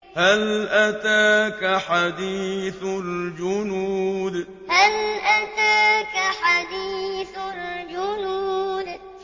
هَلْ أَتَاكَ حَدِيثُ الْجُنُودِ هَلْ أَتَاكَ حَدِيثُ الْجُنُودِ